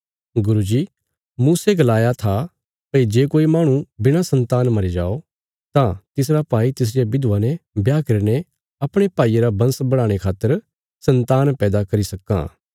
गुरू जी मूसे गलाया था भई जे कोई माहणु बिणा सन्तान मरी जाओ तां तिसरा भाई तिसरिया बिधवा ने ब्याह करीने अपणे भाईये रा बंश बढ़ाणे खातर सन्तान पैदा करी सक्कां